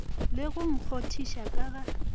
le go kgonthiša ka ga